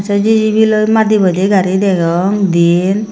jijibi loi madi boi de gari degong diyen.